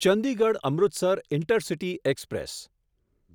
Chandigarh Amritsar intercity express